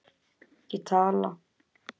Ég tala.